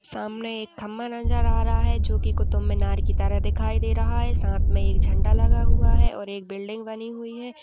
सामने एक खंभा नज़र आ रहा है जो कि कुतुब मीनार की तरह दिखाइ दे रहा है। साथ में एक झंडा लगा हुआ है और एक बिल्डिंग बनी हुई है।